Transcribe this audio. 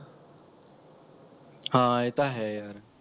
ਹਾਂ ਇਹ ਤਾਂ ਹੈ ਯਾਰ